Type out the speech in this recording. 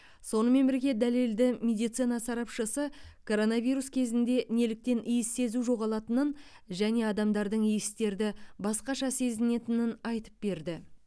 сонымен бірге дәлелді медицина сарапшысы коронавирус кезінде неліктен иіс сезу жоғалатынын және адамдардың иістерді басқаша сезетінін айтып берді